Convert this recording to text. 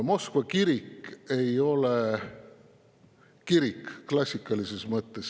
Moskva kirik ei ole kirik klassikalises mõttes.